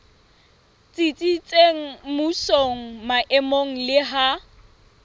tsitsitseng mmusong maemong le ha